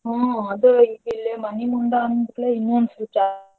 ಹೂಂ ಅದೂ ಈಗ ಇಲ್ಲೆ ಮನಿಮುಂದ ಅಂದಕುಡ್ಲೇ ಇನ್ನೂ.